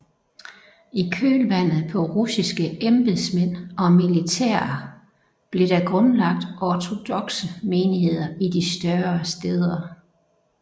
I kølvandet på russiske embedsmænd og militære blev der grundlagt ortodokse menigheder i de større stæder